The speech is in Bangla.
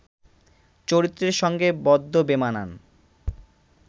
চরিত্রের সঙ্গে বদ্দ বেমানান